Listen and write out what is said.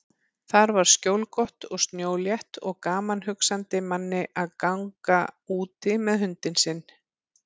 Þar var skjólgott og snjólétt og gaman hugsandi manni að ganga úti með hundinn sinn.